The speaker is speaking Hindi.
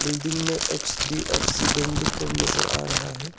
बिल्डिंग में एच_डी_एफ_सी बैंक लिख कर नजर आ रहा है।